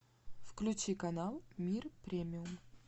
включи канал мир премиум